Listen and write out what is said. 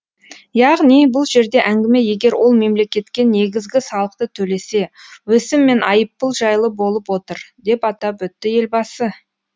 яғни бұл жерде әңгіме егер ол мемлекетке негізгі салықты төлесе өсім мен айыппұл жайлы болып отыр деп атап өтті елбасы